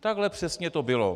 Takhle přesně to bylo.